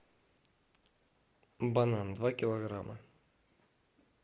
банан два килограмма